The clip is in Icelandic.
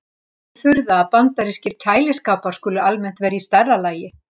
Því er ekki að furða að bandarískir kæliskápar skuli almennt vera í stærra lagi.